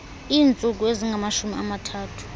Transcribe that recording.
iintsuku ezingamashumi amathathu